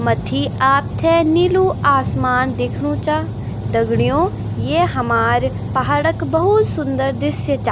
मथ्थी आपथे नीलू आसमान दिखणु चा दगडियों ये हमार पहाड़ क भोत सुन्दर दृश्य चा।